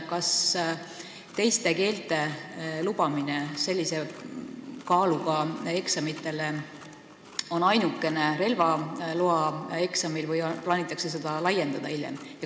Kas teises keeles lubatakse teha sellise kaaluga eksamitest ainult relvaeksamit või plaanitakse seda võimalust hiljem laiendada?